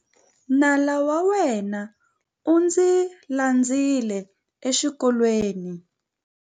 Nala wa mina u ndzi landzile exikolweni.